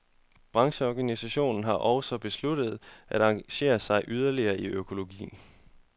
Brancheorganisationen har også besluttet at engagere sig yderligere i økologi.